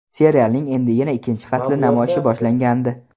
Serialning endigina ikkinchi fasli namoyishi boshlangandi.